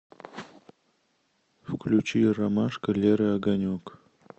включи ромашка леры огонек